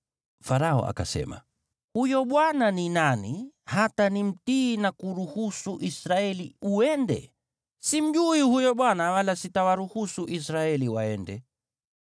Farao akasema, “Huyo Bwana ni nani, hata nimtii na kuruhusu Israeli uende? Simjui huyo Bwana wala sitawaruhusu Israeli waende.”